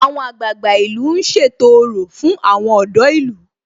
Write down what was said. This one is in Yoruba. Àwọn àgbààgbà ìlú ń ṣètò orò fún àwọn ọ̀dọ́ ìlú